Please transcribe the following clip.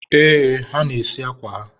ee, ha na-esi akwa ha..